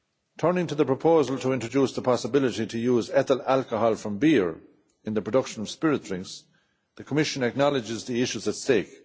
Turning to the proposal to introduce the possibility of using ethyl alcohol from beer in the production of spirit drinks, the Commission acknowledges the issues at stake.